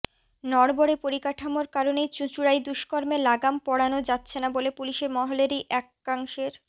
নড়বড়ে পরিকাঠামোর কারণেই চুঁচুড়ায় দুষ্কর্মে লাগাম পড়ানো যাচ্ছে না বলে পুলিশ মহলেরই একাংশের